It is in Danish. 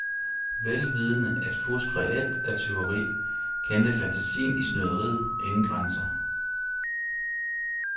Vel vidende at fusk reelt er tyveri, kendte fantasien i snyderiet ingen grænser.